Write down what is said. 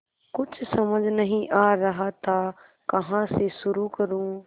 कुछ समझ नहीं आ रहा था कहाँ से शुरू करूँ